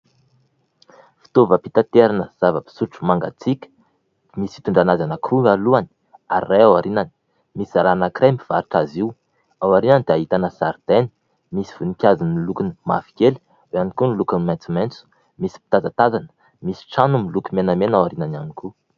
Fitaovam-pitaterana zava-pisotro mangatsiaka misy fitondrana azy anankiroa alohany ary iray ao aorianany. Misy zazalahy anankiray mivarotra azy io, ao aorianany dia ahitana zaridaina misy voninkazo miloko mavokely eo ihany koa ny lokony maitsomaitso. Misy mpitazatazana misy trano miloko menamena ao aorianany ihany koa.